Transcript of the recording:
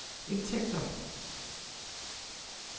indtægter